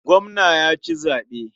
Gwamna ya ci zaɓe.